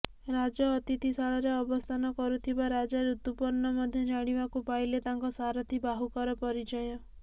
ରାଜ ଅତିଥିଶାଳାରେ ଅବସ୍ଥାନ କରୁଥିବା ରାଜା ଋତୁପର୍ଣ୍ଣ ମଧ୍ୟ ଜାଣିବାକୁ ପାଇଲେ ତାଙ୍କ ସାରଥି ବାହୁକର ପରିଚୟ